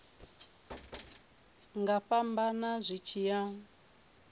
nga fhambana zwi tshi ya